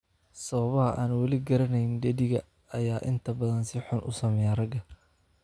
Sababaha aan weli la garanayn, dheddigga ayaa inta badan si xun u saameeya ragga.